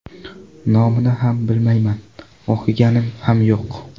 Nomini ham bilmayman, o‘qiganim ham yo‘q.